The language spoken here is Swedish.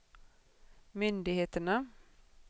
myndigheterna